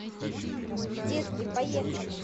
детки поехали